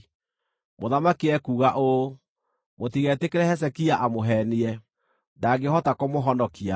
Mũthamaki ekuuga ũũ: Mũtigetĩkĩre Hezekia amũheenie. Ndangĩhota kũmũhonokia!